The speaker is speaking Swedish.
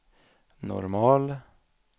normal